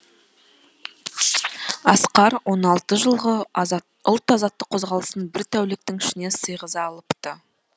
асқар он алты жылғы ұлт азаттық қозғалысын бір тәуліктің ішіне сыйғыза алыпты